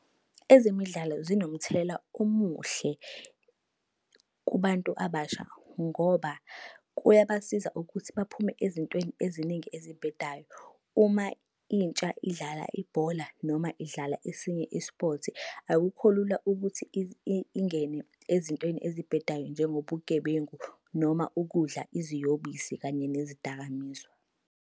Ezemidlalo zinomthelela omuhle kubantu abasha ngoba kuyabasiza ukuthi baphume ezintweni eziningi ezibhedayo. Uma intsha idlala ibhola noma idlala esinye i-sport, akukho lula ukuthi ingene ezintweni ezibhedayo njengobugebengu noma ukudla iziyobisi kanye nezidakamizwa.